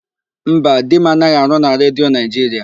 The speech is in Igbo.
Mba, di m anaghị arụ na Redio Naịjiria.